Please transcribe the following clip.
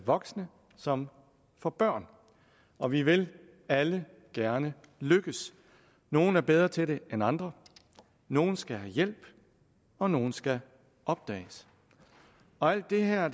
voksne som for børn og vi vil alle gerne lykkes nogle er bedre til det end andre nogle skal have hjælp og nogle skal opdages alt det her